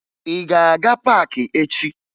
Ị ga-aga paakị echi?